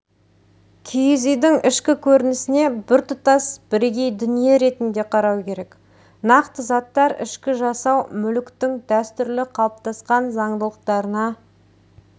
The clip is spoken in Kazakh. киіз үйдің ішкі көрінісіне біртұтас бірегей дүние ретінде қарау керек нақты заттар ішкі жасау мүліктің дәстүрлі қалыптасқан заңдылықтарына